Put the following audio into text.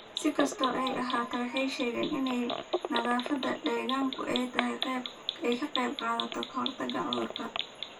Si kastaba ha ahaatee, waxay sheegeen in nadaafadda deegaanku ay ka qayb qaadato ka hortagga cudurrada.